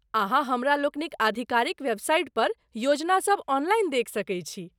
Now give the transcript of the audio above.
अहाँ हमरालोकनिक आधिकारिक वेबसाइटपर योजनासभ ऑनलाइन देखि सकैत छी।